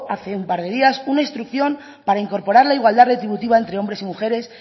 hace un par de días una instrucción para incorporar la igualdad retributiva entre hombres y mujeres